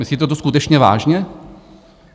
Myslíte to skutečně vážně?